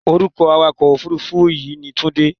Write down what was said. Orúkọ awakọ̀-òfuurufú yìí ni Tunde.